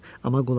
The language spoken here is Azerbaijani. Amma qulaq as.